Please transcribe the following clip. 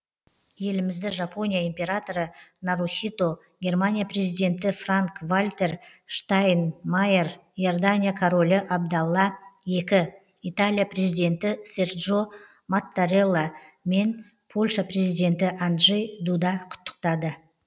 елімізді жапония императоры нарухито германия президенті франк вальтер штайнмайер иордания королі абдалла екі италия президенті серджо маттарелла мен польша президенті анджей дуда құттықтады